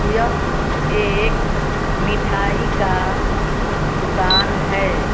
यह एक मिठाई का दुकान है।